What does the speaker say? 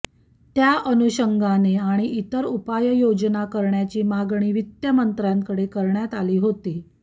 त्या अनुषंगाने आणि इतर उपाययोजना करण्याची मागणी वित्तमंत्र्यांकडे करण्यात आली होती